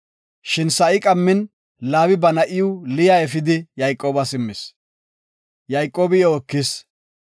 Shin sa7i qammin Laabi ba na7iw Liya efidi Yayqoobas immis. Yayqoobi iyo ekis.